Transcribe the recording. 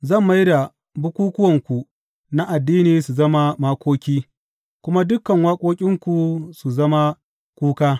Zan mai da bukukkuwanku na addini su zama makoki kuma dukan waƙoƙinku su zama kuka.